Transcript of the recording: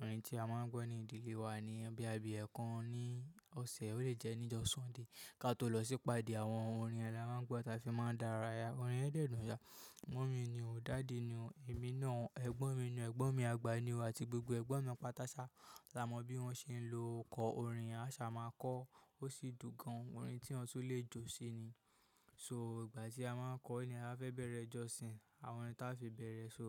Orin tí a máa ń gbọ́ ní ìdílé wa ni yen boya bí ekan ní ọ̀sẹ̀, ó lè jẹ́ ní ojo sunday. Káto lọ sípa dẹ̀, àwọn orin yen ni a ma n gbọ́ táa fi máa ń dára ya. Orin yẹ́n dẹ́dùn ya. Mummy ni o, daddy ni o, èmi náà, ẹ̀gbọ́n mi ni o, ẹ̀gbọ́n mi àgbà ni o, àti gbogbo ẹ̀gbọ́n mi apátáṣá. A mo bi won se lo ko orin yen asa ma ko. Ó sì dùn gan. Orin tí wọn tún lè jó sí ni. So ìgbà tí a máa ń kọ ni a fẹ́ bẹ̀rẹ̀ ẹjọ́sin. Àwọn orin táa fi bẹ̀rẹ̀, so